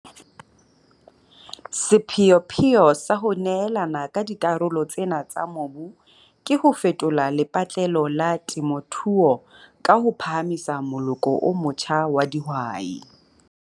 Sepheopheo sa ho neelana ka dikarolo tsena tsa mobu ke ho fetola lepatlelo la temothuo ka ho phahamisa moloko o motjha wa dihwai.